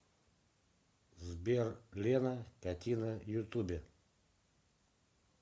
сбер лена катина ютубе